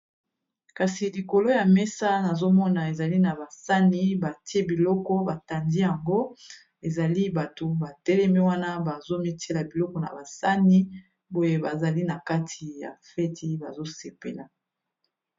Kasi likolo ya mesa nazo mona ezali na ba sani batie biloko ba tandi yango, ezali bato ba telemi wana bazo mitiela biloko na ba sani boye bazali na kati ya feti bazo sepela.